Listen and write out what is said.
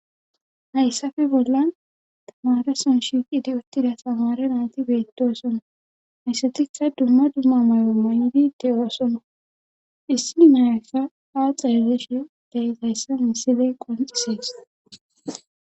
hayssafe bollan tamareson shiiqidi uttida tamare nayti beettosona hayssatikka duma duma maro mayndi de7osona issini nayassa a xarezeshe deezayssa misile qonxisees